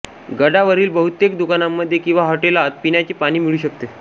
गडावरील बहुतेक दुकानांमध्ये किंवा हॉटेलात पिण्याचे पाणी मिळू शकते